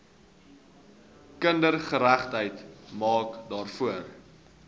kindergeregtigheid maak daarvoor